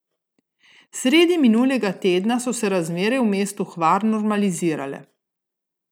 Sredi minulega tedna so se razmere v mestu Hvar normalizirale.